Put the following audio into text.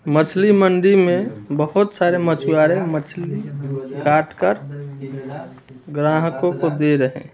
मछली मंडी में बहुत सारे मछुआरें मछली काट कर ग्राहकों को दे रहे हैं।